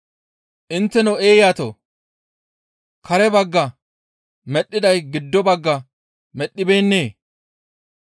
Intteno eeyatoo! Kare bagga medhdhiday giddo bagga medhdhibeennee?